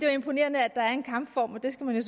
er imponerende at der er en kampform og det skal man jo